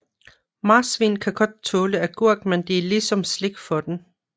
Marsvin kan godt tåle agurk men det er ligesom slik for dem